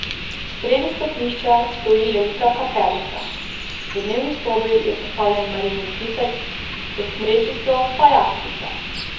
Sredi stopnišča stoji velika kapelica, v dnevni sobi je postavljen Marijin kipec, pod smrečico pa jaslice.